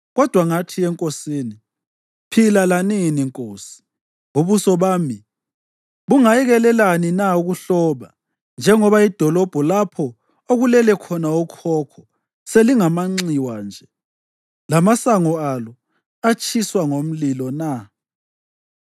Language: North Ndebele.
kodwa ngathi enkosini, “Phila lanini nkosi! Ubuso bami bungayekelelani na ukuhloba njengoba idolobho lapho okulele khona okhokho selingamanxiwa nje, lamasango alo atshiswa ngomlilo na?”